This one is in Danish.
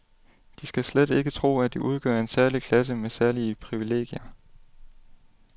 De skal slet ikke tro, at de udgør en særlig klasse med særlige privilegier.